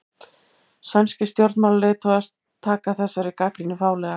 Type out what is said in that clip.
Sænskir stjórnmálaleiðtogar taka þessari gagnrýni fálega